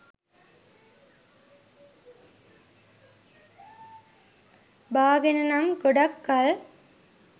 බාගෙන නම් ගොඩක් කල්